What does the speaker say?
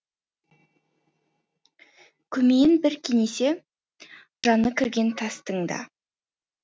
көмейін бір кенесе жаны кірген тастың да